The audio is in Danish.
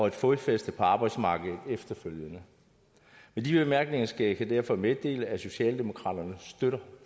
et fodfæste på arbejdsmarkedet efterfølgende med de bemærkninger skal jeg derfor meddele at socialdemokraterne støtter